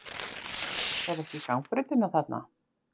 Sérðu ekki gangbrautina þarna?